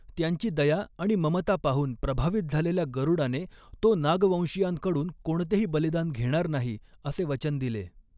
त्यांची दया आणि ममता पाहून प्रभावित झालेल्या गरुडाने, तो नागवंशीयांकडून कोणतेही बलिदान घेणार नाही, असे वचन दिले.